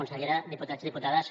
consellera diputats i diputades